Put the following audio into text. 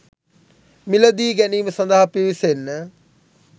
මිලදී ගැනීම සඳහා පිවිසෙන්න.